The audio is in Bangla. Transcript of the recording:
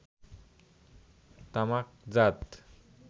তামাকজাত